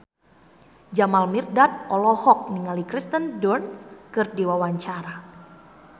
Jamal Mirdad olohok ningali Kirsten Dunst keur diwawancara